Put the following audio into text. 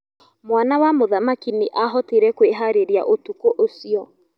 Mwana wa mũthamaki nĩahotire kwĩharĩria ũtukũ ũcio.